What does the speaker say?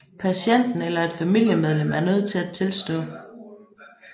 Patienten eller et familiemedlem er nødt til at tilstå